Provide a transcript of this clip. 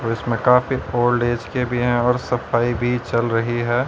और इसमें काफी ओल्ड एज के भी हैं और सफाई भी चल रही है।